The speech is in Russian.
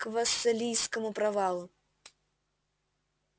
к вассалийскому провалу